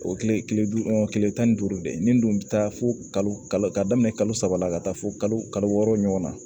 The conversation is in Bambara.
O kile kile duuru kile tan ni duuru de nin bɛ taa fo kalo ka daminɛ kalo saba la ka taa fo kalo wɔɔrɔ ɲɔgɔn na